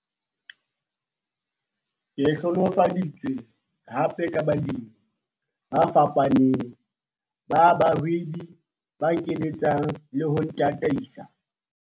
Ke hlohonolofaditswe hape ka balemi ba fapaneng ba bahwebi ba nkeletsang le ho ntataisa.